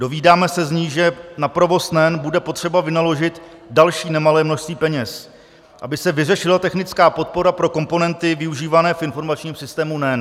Dozvídáme se z ní, že na provoz NEN bude potřeba vynaložit další nemalé množství peněz, aby se vyřešila technická podpora pro komponenty využívané v informačním systému NEN.